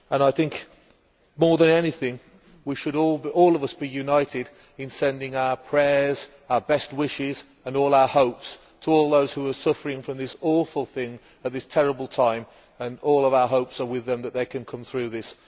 I think that more than anything we should all be united in sending our prayers, our best wishes and all our hopes to those who are suffering from this awful thing at this terrible time, and all our hopes are with them that they can come through this.